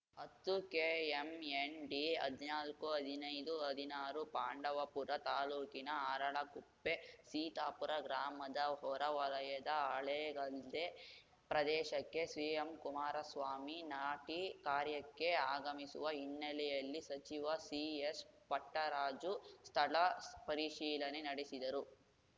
ಹತ್ತುಕೆಎಂಎನ್‌ ಡಿಹದಿನಾಲ್ಕುಹದಿನೈದುಹದಿನಾರು ಪಾಂಡವಪುರ ತಾಲೂಕಿನ ಅರಳಕುಪ್ಪೆಸೀತಾಪುರ ಗ್ರಾಮದ ಹೊರವಲಯದ ಹಳೇಗದ್ದೆ ಪ್ರದೇಶಕ್ಕೆ ಸಿಎಂ ಕುಮಾರಸ್ವಾಮಿ ನಾಟಿ ಕಾರ್ಯಕ್ಕೆ ಆಗಮಿಸುವ ಹಿನ್ನೆಲೆಯಲ್ಲಿ ಸಚಿವ ಸಿಎಸ್‌ಪಟ್ಟರಾಜು ಸ್ಥಳಪರಿಶೀಲನೆ ನಡೆಸಿದರು